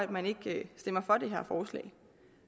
man ikke stemmer for det her forslag